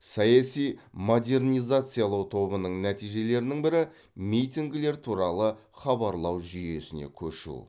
саяси модернизациялау тобының нәтижелерінің бірі митингілер туралы хабарлау жүйесіне көшу